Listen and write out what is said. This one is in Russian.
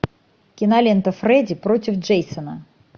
кинолента фредди против джейсона